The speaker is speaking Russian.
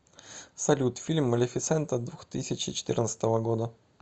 салют фильм малефисента двухтысячи четырнадцатого года